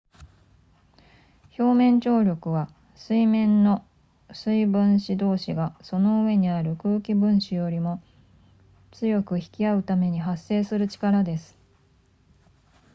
表面張力は水面の水分子同士がその上にある空気分子よりも強く引き合うために発生する力です